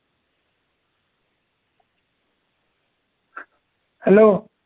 Hello